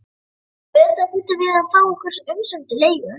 En auðvitað þurftum við að fá okkar umsömdu leigu.